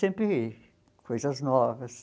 Sempre coisas novas.